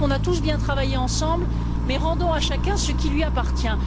Je crois qu'on a tous bien travaillé ensemble, mais rendons à chacun ce qui lui appartient.